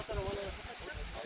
Gərək atsan ora.